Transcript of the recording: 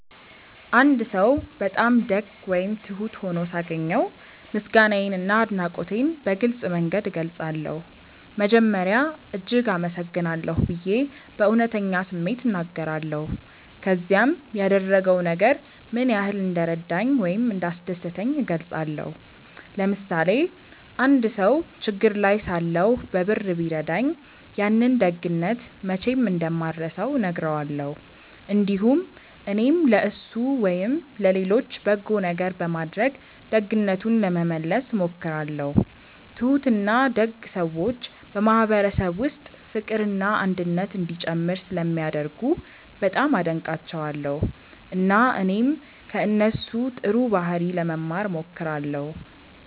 አንድ ሰው በጣም ደግ ወይም ትሁት ሆኖ ሳገኘው ምስጋናዬንና አድናቆቴን በግልጽ መንገድ እገልጻለሁ። መጀመሪያ “እጅግ አመሰግናለሁ” ብዬ በእውነተኛ ስሜት እናገራለሁ፣ ከዚያም ያደረገው ነገር ምን ያህል እንደረዳኝ ወይም እንዳስደሰተኝ እገልጻለሁ። ለምሳሌ አንድ ሰው ችግር ላይ ሳለሁ በብር ቢረዳኝ፣ ያንን ደግነት መቼም እንደማልረሳው እነግረዋለሁ። እንዲሁም እኔም ለእሱ ወይም ለሌሎች በጎ ነገር በማድረግ ደግነቱን ለመመለስ እሞክራለሁ። ትሁትና ደግ ሰዎች በማህበረሰብ ውስጥ ፍቅርና አንድነት እንዲጨምር ስለሚያደርጉ በጣም አደንቃቸዋለሁ፣ እና እኔም ከእነሱ ጥሩ ባህሪ ለመማር እሞክራለሁ።